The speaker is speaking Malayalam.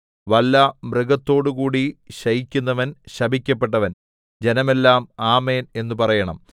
വല്ല മൃഗത്തോടുംകൂടി ശയിക്കുന്നവൻ ശപിക്കപ്പെട്ടവൻ ജനമെല്ലാം ആമേൻ എന്നു പറയണം